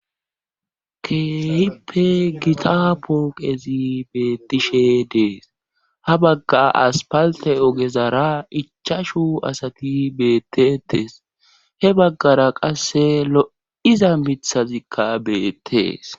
keehippe gita pooqezi beettishe dees ha bagga aspalte ogezara ichashu asati beettetees he baggara qasse lo7iza mithazikka beettees